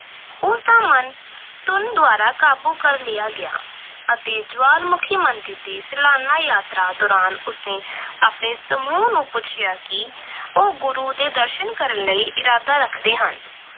ਤਾਂ ਮਨ ਧੁਨ ਦੁਆਰਾ ਕਾਬੂ ਕਰ ਲਿਆ ਗਿਆ ਅਤੇ ਜਵਾਲਾਮੁਖੀ ਮੰਦਰ ਦੀ ਸਲਾਨਾ ਯਾਤਰਾ ਦੌਰਾਨ ਉਸਨੇ ਆਪਣੇ ਸਮੂਹ ਨੂੰ ਪੁੱਛਿਆ ਕਿ ਉਹ ਗੁਰੂ ਦੇ ਦਰਸ਼ਨ ਕਰਨ ਲਈ ਇਰਾਦਾ ਰੱਖਦੇ ਹਨ।